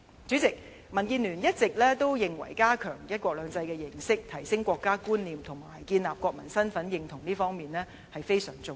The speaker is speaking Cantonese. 主席，民建聯一直認為加強"一國兩制"認識，提升國家觀念，建立國民身份認同是非常重要。